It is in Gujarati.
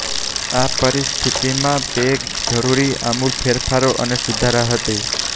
આ પરિસ્થિતિ માં તે જરૂરી આમૂલ ફેરફારો અને સુધારા હતી